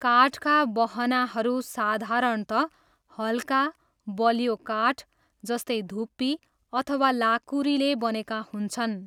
काठका बहनाहरू साधारणतः हल्का, बलियो काठ, जस्तै धुप्पी अथवा लाँकुरीले बनेका हुन्छन्।